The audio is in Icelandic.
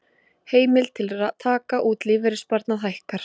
Heimild til taka út lífeyrissparnað hækkar